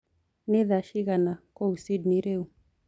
ni thaa cĩĩgana kũũ sydney riũ